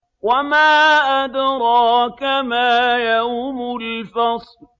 وَمَا أَدْرَاكَ مَا يَوْمُ الْفَصْلِ